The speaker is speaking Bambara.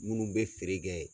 Munnu bɛ feere kɛ